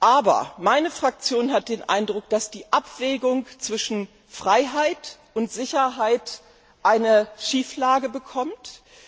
Aber meine Fraktion hat den Eindruck, dass die Abwägung zwischen Freiheit und Sicherheit in eine Schieflage gerät.